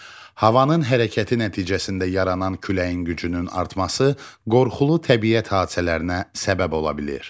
Havanın hərəkəti nəticəsində yaranan küləyin gücünün artması qorxulu təbiət hadisələrinə səbəb ola bilir.